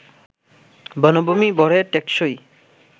বনভূমি ভরে টেকসই